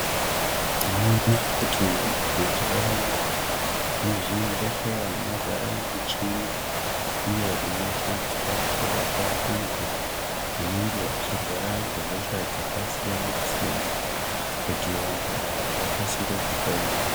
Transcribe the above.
Tinoona kuti mazuwa ano muzvimbehleya mazara michini iyo inoshandiswa kurapa antu anenge achirwara ngehosha dzakasiyana siyana kuti vantu ava vakasire kupona .